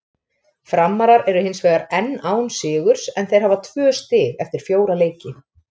Framarar eru hinsvegar enn án sigurs en þeir hafa tvö stig eftir fjóra leiki.